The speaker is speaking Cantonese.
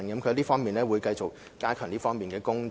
教育局會繼續加強這方面的工作。